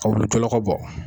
Aw bɛ jɔlɔkɔ bɔ.